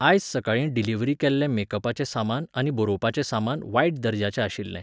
आयज सकाळीं डिलिव्हरी केल्लें मेकपाचें सामान आनी बरोवपाचें सामान वायट दर्ज्याचें आशिल्लें.